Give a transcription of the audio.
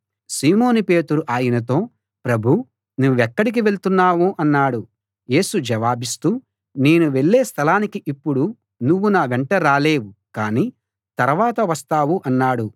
సీమోను పేతురు ఆయనతో ప్రభూ నువ్వెక్కడికి వెళ్తున్నావు అన్నాడు యేసు జవాబిస్తూ నేను వెళ్ళే స్థలానికి ఇప్పుడు నువ్వు నా వెంట రాలేవు కాని తరవాత వస్తావు అన్నాడు